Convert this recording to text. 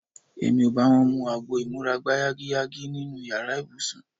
Èmi ò bá wọn mu agbo ìmúra-gbáyágiyágí nínú yàrá ibùsùn.